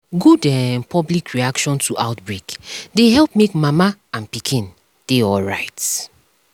good um public reaction to outbreak dey help make mama and pikin dey alright um